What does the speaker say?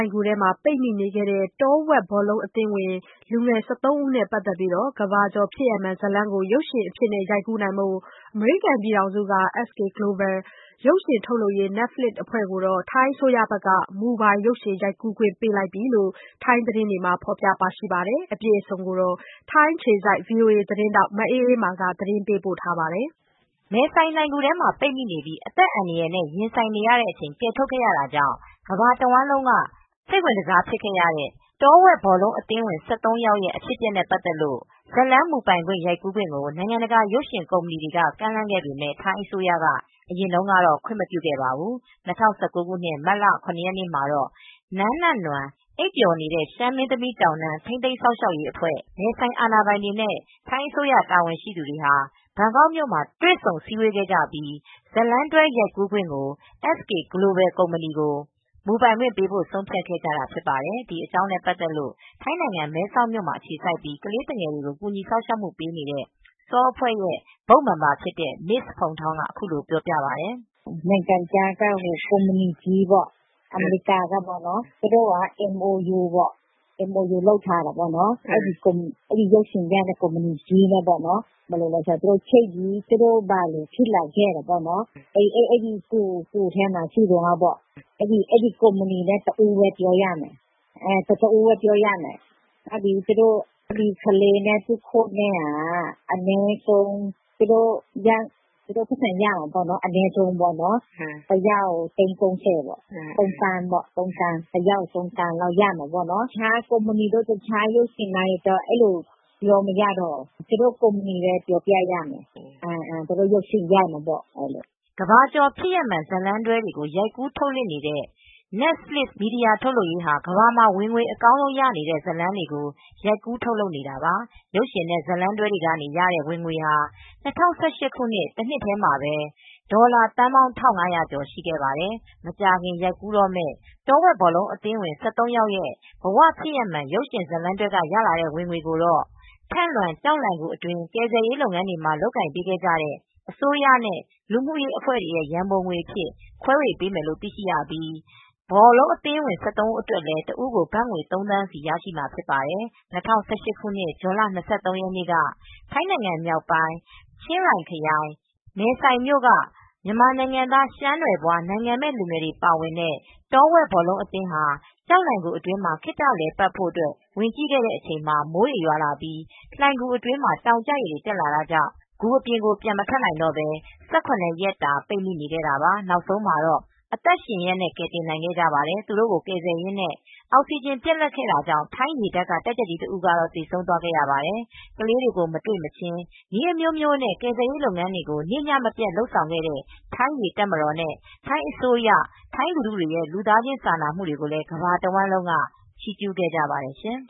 ဏ်ဂူထဲမှာ ပိတ်မိခဲ့တဲ့ တောဝက်ဘောလုံး အသင်းဝင် ၁၃ ဦးနဲ့ ပတ်သက်လို့ကမ္ဘာကျော် ဖြစ်ရပ်မှန် ဇာတ်လမ်း ကို ရုပ်ရှင်အဖြစ် ရိုက်ကူးဖို့ အမေရိကန်နိုင်ငံက SK GLOBAL ရုပ်ရှင် ထုတ်လုပ်ရေး Netflix အဖွဲ့ကို ထိုင်းအစိုးရက မူပိုင်ရိုက်ကူးခွင့် ပေးလိုက်ပြီလို့ ထိုင်းသတင်းတွေမှာ ထုတ်လွှင့်နေပါတယ်။ မအေးမာက သတင်းပေးပို့ထားပါတယ်။ မဲဆိုင်လှိုဏ်ဂူထဲမှာ ပိတ်မိပြီး အသက်အန္တရာယ်နဲ့ ရင်ဆိုင်ကာ ကယ်ထုတ်ခဲ့ရတာကြောင့် ကမ္ဘာတဝှမ်းလုံးက စိတ်ဝင်တစားဆုံး ဖြစ်တဲ့ တောဝက်ဘောလုံး အသင်းဝင် ၁၃ ယောက်ရဲ့ အဖြစ်အပျက်နဲ့ ပတ်သက်လို့ ဇာတ်လမ်းမူပိုင် ရိုက်ကူးခွင့်ကို နိုင်ငံတကာ ရုပ်ရှင်ကုမ္ပဏီတွေက ကမ်းလှမ်းခဲ့ပေမယ့် ထိုင်းအစိုးရက အရင်တုန်းကတော့ ခွင့်မပြုခဲ့ပေမဲ့ ၂၀၁၉ ခုနှစ်၊ မတ်လ ၇ ရက်နေ့မှာတော့ နန်းနနွမ်း (အိပ်ပျော်နေတဲ့ ရှမ်းမင်းသမီး တောင်တန်း) ထိန်းသိမ်း စောင့်ရှောက်ရေးအဖွဲ့ မဲဆိုင်အာဏာပိုင် တွေနဲ့ ထိုင်းအစိုးရ တာဝန်ရှိသူတွေဟာ ဘန်ကောက်မြို့မှာ တွေ့ဆုံစည်းဝေးခဲ့ပြီး ဇာတ်လမ်းတွဲ ရုပ်ရှင်ရိုက်ကူးခွင့်အား SK GLOBAL ကို မူပိုင်ပေးရန် ဆုံးဖြတ်ခဲ့ကြတာ ဖြစ်ပါတယ်။ ဒီအကြောင်းနဲ့ ပတ်သက်လို့ ထိုင်းနိုင်ငံ မဲဆောက်မှာ အခြေစိုက်ပြီး ကလေးသူငယ်တွေကို ကူညီစောက်ရှောက်မှု ပေးနေတဲ့ SAW အဖွဲ့က Board Member တဦး ဖြစ်တဲ့ Mrs Phuangthong က အခုလို ပြောပြပါတယ်။ "နိုင်ငံခြားက ကုမ္ပဏီကြီးပေါ့၊ အမေရိကန်ကပေါ့။ သူတို့က MOU လုပ်ထားတယ်ပေါ့။ အဲဒီ ရုပ်ရှင်ရိုက်မယ်။ သူတို့ ဘာတွေ ဖြစ်လာခဲ့တယ်ဆိုတာ၊ အဲဒီ ဂူထဲမှာ ရှိတုန်းက ဘာတွေဖြစ်ခဲ့သလဲဆိုတာ ပြောပြရမယ်။ သူတို့ အဲဒီကုမ္ပဏီနဲ့ပဲ ပြောရမယ်။ သူတို့ နည်းပြနဲ့ ကလေးတွေက တယောက်ကို သိန်း ၃၀ ရမယ်။ ဘတ်ငွေ ၃သန်း ပေါ့။ သူများ ရုပ်ရှင်လိုင်းတွေကိုတော့ ပြောပြလို့မရတော့ဘူး။ အဲဒီ ကုမ္ပဏီကိုပဲ ပြောပြရမယ်။ သူတို့ ရုပ်ရှင်ရိုက်မယ်ပေါ့။" ကမ္ဘာကျော် ဖြစ်ရပ်မှန် ဇာတ်လမ်းတွဲတွေ ရိုက်ကူး ထုတ်လွှင့်နေတဲ့ Netflix မီဒီယာ ထုတ်လုပ်ရေးဟာ ကမ္ဘာမှာ ဝင်ငွေ အကောင်းဆုံးရနေတဲ့ ဇာတ်လမ်းတွေကို ရိုက်ကူး ထုတ်လုပ်နေတာပါ။ ရုပ်ရှင်နဲ့ ဇာတ်လမ်းတွဲတွေက ရတဲ့ ဝင်ငွေဟာ ၂၀၁၈ တစ်နှစ်ထဲ ဝင်ငွေဟာ အမေရိကန် ဒေါ်လာ ၁၅.၇၉၄ ဘီလျံ (ဒေါ်လာ သန်းပေါင်း ၁၅၀၀ ကျော်) ရှိပါတယ်။ မကြာခင် ရိုက်ကူးတော့မယ့် တောဝက် ဘောလုံးအသင်းဝင် ၁၃ ယောက် ရဲ့ ဘ၀ ဖြစ်ရပ်မှန် ရုပ်ရှင်ဇာတ်လမ်းတွဲက ရလာတဲ့ ဝင်ငွေကို ထန့်လွင် ကျောက်လှိုဏ်ဂူ အတွင်း ကယ်ဆယ်ရေး လုပ်ငန်းတွေ လုပ်ကိုင်ပေးခဲ့တဲ့ အစိုးရနဲ့လူမှုရေး အဖွဲ့တွေကို ရန်ပုံငွေအဖြစ် ခွဲပေးမယ်လို့ သိရပြီး တောဝက်ဘောလုံး အသင်းဝင် ၁၃ ဦးအတွက်လည်း တစ်ဦးကို ဘတ်ငွေ ၃ သန်းစီရမှာ ဖြစ်ပါတယ်။ ၂၀၁၈ ခုနှစ် ဇွန်လ ၂၃ ရက်နေ့က ထိုင်းမြောက်ပိုင်း ချင်းရိုင်ခရိုင် မဲဆိုင်မြို့က မြန်မာနိုင်ငံသား ရှမ်းနွယ်ဖွား နိုင်ငံမဲ့ လူငယ်တွေ ပါဝင်တဲ့ တောဝက်ဘောလုံး အသင်းဟာ ကျောက်လှိုဏ်ဂူအတွင်း ခေတ္တလည်ပတ်ဖို့ ဝင်ကြည့်ခဲ့တဲ့အချိန် မိုးတွေရွာလာပြီး လှိုဏ်ဂူအတွင်းမှာ တောင်ကျရေတွေ တက်လာတာကြောင့် ဂူပြင်ကို ပြန်မထွက်နိုင်တော့ပဲ ၁၇ ရက်တာ ပိတ်မိနေခဲ့ကြတာပါ။ နောက်ဆုံး အသက်ရှင်ရက် ကယ်တင်နိုင်ခဲ့ပါတယ်။ သူတို့ကို ကယ်ဆယ်ရင်းနဲ့ အောက်စီဂျင် ပြတ်လပ်ခဲ့တာကြောင့် ထိုင်းရေတပ်က တပ်ကြပ်ကြီး တဦးကတော့ သေဆုံးသွားခဲ့ရပါတယ်။ ကလေးတွေကို မတွေ့မချင်း နည်းအမျိုးမျိုးနဲ့ ကယ်ဆယ်ရေး လုပ်ငန်းတွေကို နေ့ညမပြတ် လုပ်ခဲ့တဲ့ ထိုင်း ရေတပ်မတော်နဲ့ ထိုင်းအစိုးရရဲ့ ထိုင်းလူထုတွေရဲ့ လူသားချင်း စာနာမူတွေကိုလည်း ကမ္ဘာတဝှမ်းလုံးက ချီးကျူးခဲ့ကြပါတယ်ရှင်